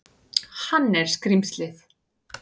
Hann er skrímslið.